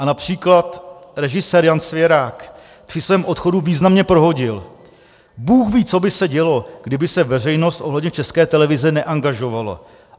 A například režisér Jan Svěrák při svém odchodu významně prohodil: Bůh ví, co by se dělo, kdyby se veřejnost ohledně České televize neangažovala.